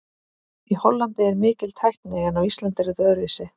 Í Hollandi er mikil tækni en á Íslandi er þetta öðruvísi.